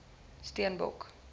steenbok